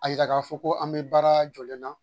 A yira ka fɔ ko an bɛ baara jɔlen na.